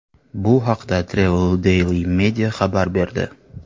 Bu haqda Travel Daily Media xabar berdi .